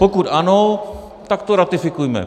Pokud ano, tak to ratifikujme.